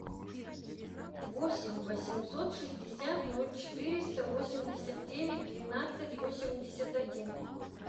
восемь восемьсот шестьдесят ноль четыреста восемьдесят девять двенадцать восемьдесят один